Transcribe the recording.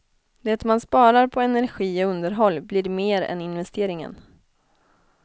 Det man sparar på energi och underhåll blir mer än investeringen.